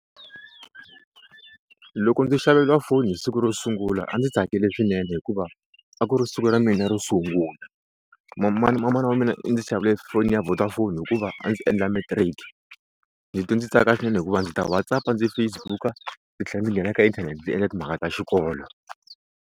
Loko ndzi xaveriwa foni hi siku ro sungula a ndzi tsakile swinene hikuva a ku ri siku ra mina ro sungula. manana wa mina i ndzi xavele foni ya Vodafone hikuva a ndzi endla matric ndzi twe ndzi tsaka swinene hikuva ndzi ta WhatsApp-a ndzi Facebook-a ndzi tlhela ndzi nghena eka inthanete ndzi endla timhaka ta xikolo.